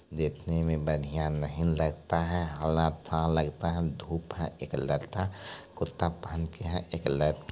देखने में बढ़िया नहीं लगता है था लगता है धूप है एक लड़का कुर्ता पेहेन के है एक लड़का --